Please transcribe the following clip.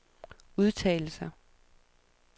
udtalelser